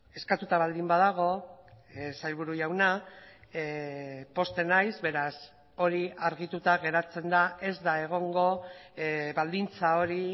eskatuta baldin badago sailburu jauna pozten naiz beraz hori argituta geratzen da ez da egongo baldintza hori